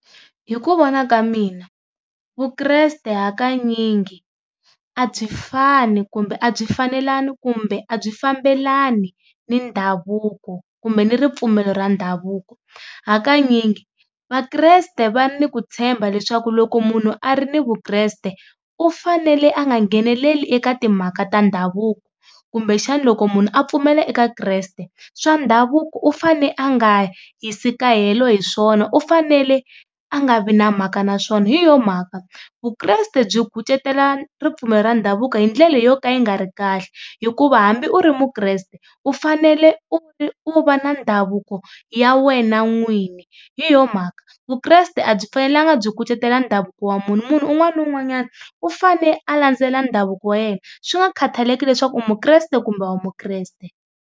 Hi ku vona ka mina Vukreste hakanyingi a byi fani kumbe a byi fanelani kumbe a byi fambelani ni ndhavuko kumbe ni ripfumelo ra ndhavuko, hakanyingi Vakreste va ni ku tshemba leswaku loko munhu a ri ni Vukreste u fanele a nga ngheneleli eka timhaka ta ndhavuko, kumbexani loko munhu a pfumela eka Kreste swa ndhavuko u fane a nga yisi kahelo hi swona u fanele a nga vi na mhaka na swona hi yo mhaka Vukreste byi kucetela ripfumelo ra ndhavuko hi ndlela yo ka yi nga ri kahle hikuva hambi u ri muKreste u fanele u u va na ndhavuko ya ya wena n'wini. Hi yo mhaka, Vukreste a byi fanelanga byi kucetela ndhavuko wa munhu, munhu un'wana na un'wanyana u fane a landzelela ndhavuko wa yena swi nga khataleki leswaku u muKreste kumbe a wu muKreste.